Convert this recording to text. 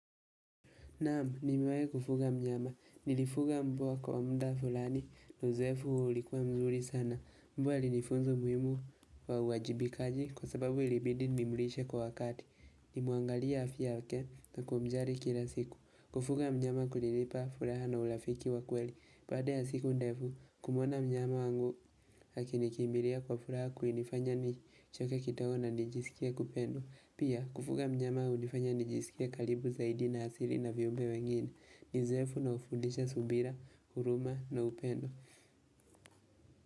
Naam, nimiwahi kufuga mnyama. Nilifuga mbwa kwa muda fulani. Uzoefu ulikuwa mzuri sana. Mbwa alinifunza umuhimu wa uajibikaji kwa sababu ilibidi nimlishe kwa wakati. Nilimuangalia afya yake na kumjali kila siku. Kufuga mnyama kulinipa furaha na urafiki wa kweli. Baada ya siku ndefu, kumuona mnyama wangu akinikimbilia kwa furaha kulinifanya nichoke kidogo na nijisikie kupendwa. Pia, kufuga mnyama hunifanya nijisikie karibu zaidi na asili na viumbe wengine. Ni uzoefu na hufundisha subira, huruma na upendo.